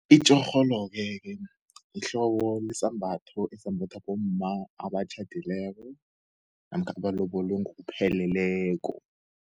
Itjorholo-ke kena, yihlobo wesambatho esambathwa bomma abatjhadileko, namkha abalobolwe ngokupheleleko.